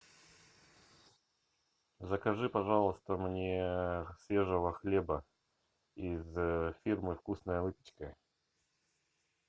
закажи пожалуйста мне свежего хлеба из фирмы вкусная выпечка